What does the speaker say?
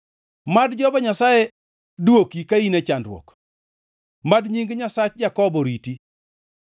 Mad Jehova Nyasaye dwoki ka in e chandruok; mad nying Nyasach Jakobo riti.